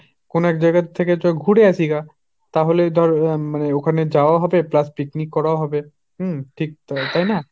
কোনো এক জায়গা থেকে চ ঘুরে আসি গা। তাহলে ধর উম মানে ওখানে যাওয়াও হবে plus picnic করাও হবে। উম ঠিক তাই না।